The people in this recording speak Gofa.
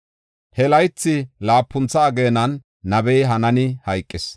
He laythi laapuntha ageenan nabey Hanaani hayqis.